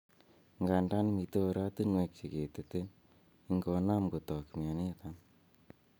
Ngandan miten oratinwek cheketete ingonam kotak mioniton.